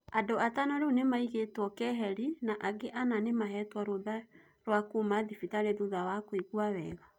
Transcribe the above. Andũ atano rĩu nĩmaigetwo keheri na angĩ ana nĩmahetwo rũtha rua kuma thibitarĩ thutha wa kũigua wega